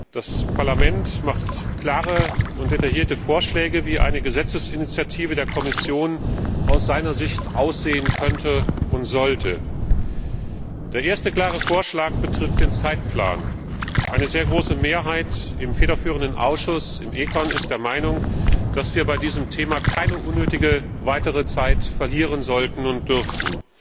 Das Parlament macht klare und detaillierte Vorschläge, wie eine Gesetzesinitiative der Kommission aus seiner Sicht aussehen könnte und sollte. Der erste klare Vorschlag betrifft den Zeitplan. Eine sehr große Mehrheit im federführenden Ausschuss, im ECON, ist der Meinung, dass wir bei diesem Thema nicht unnötig weitere Zeit verlieren sollten und dürfen.